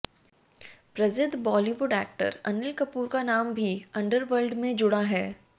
प्रसिद्ध बॉलीवुड एक्टर अनिल कपूर का नाम भी अंडरवर्ल्ड में जुड़ा है